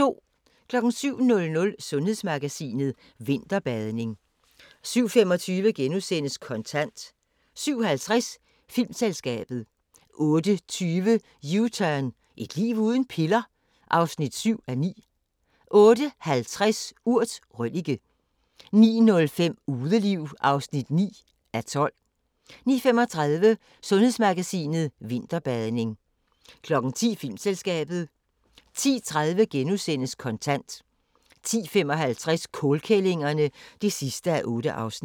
07:00: Sundhedsmagasinet: Vinterbadning 07:25: Kontant * 07:50: Filmselskabet 08:20: U-turn – Et liv uden piller? (7:9) 08:50: Urt: Røllike 09:05: Udeliv (9:12) 09:35: Sundhedsmagasinet: Vinterbadning 10:00: Filmselskabet 10:30: Kontant * 10:55: Kålkællingerne (8:8)